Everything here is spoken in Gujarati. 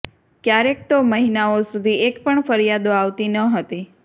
ક્યારેક તો મહિનાઓ સુધી એકપણ ફરિયાદો આવતી ન હતી